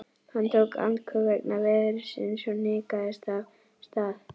Hann tók andköf vegna veðursins og hnikaðist af stað.